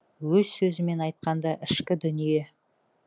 өз сөзімен айтқанда ішкі дүние